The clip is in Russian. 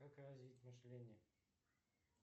как развить мышление